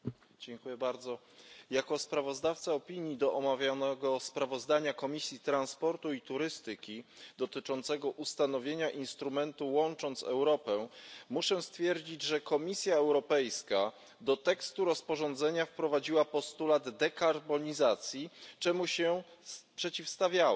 Panie Przewodniczący! Jako sprawozdawca opinii do omawianego sprawozdania Komisji Transportu i Turystyki dotyczącego ustanowienia instrumentu Łącząc Europę muszę stwierdzić, że Komisja Europejska do tekstu rozporządzenia wprowadziła postulat dekarbonizacji, czemu się przeciwstawiałem.